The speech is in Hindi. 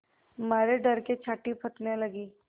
मारे डर के छाती धड़कने लगी